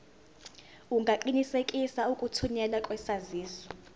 ungaqinisekisa ukuthunyelwa kwesaziso